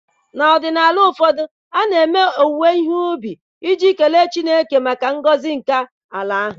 N'ọdịnala ụfọdụ, a na-eme ememme owuwe ihe ubi iji nye Chineke ekele maka ngọzi nke ala ahụ.